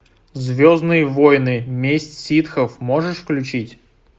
звездные войны месть ситхов можешь включить